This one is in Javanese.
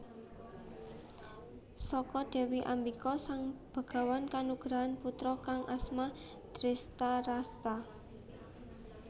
Saka Dewi Ambika Sang Begawan kanugrahan putra kang asma Drestharasta